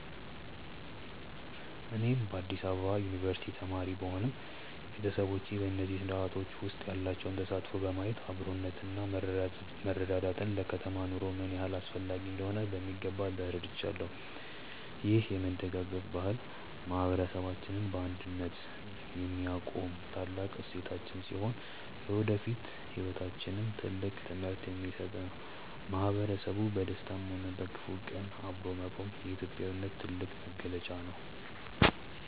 እኔም በአዲስ አበባ ዩኒቨርሲቲ ተማሪ ብሆንም፣ ቤተሰቦቼ በእነዚህ ስርአቶች ውስጥ ያላቸውን ተሳትፎ በማየት አብሮነትና መረዳዳት ለከተማ ኑሮ ምን ያህል አስፈላጊ እንደሆኑ በሚገባ ተረድቻለሁ። ይህ የመደጋገፍ ባህል ማህበረሰባችንን በአንድነት የሚያቆም ታላቅ እሴታችን ሲሆን፣ ለወደፊት ህይወታችንም ትልቅ ትምህርት የሚሰጥ ነው። ማህበረሰቡ በደስታም ሆነ በክፉ ቀን አብሮ መቆሙ የኢትዮጵያዊነት ትልቁ መገለጫ ነው።